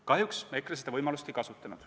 Kahjuks EKRE seda võimalust ei kasutanud.